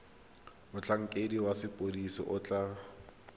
motlhankedi wa sepodisi o tla